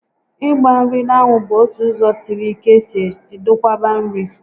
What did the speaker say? Ịgba nri n'anwu bụ ótụ ụzọ sịrị ike esi edokwaba nri